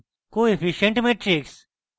coefficient matrix